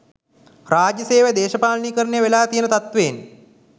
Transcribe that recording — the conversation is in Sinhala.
රාජ්‍ය සේවය දේශපාලනීකරණය වෙලා තියෙන තත්වයෙන්